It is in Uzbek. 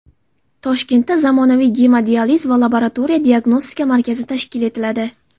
Toshkentda zamonaviy gemodializ va laboratoriya diagnostika markazi tashkil etiladi.